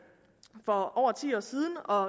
for over ti år siden og